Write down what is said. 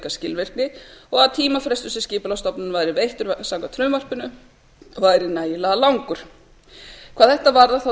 skilvirkni og að tímafrestur sem skipulagsstofnunar væri veittur samkvæmt frumvarpinu væri nægilega langur hvað þetta varðar